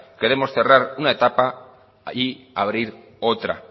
queremos cerrar una etapa y abrir otra